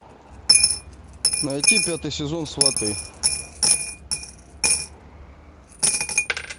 найти пятый сезон сваты